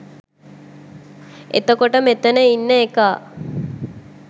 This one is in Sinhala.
එතකොට මෙතන ඉන්න එකා